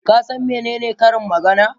Ka san menene karin magana?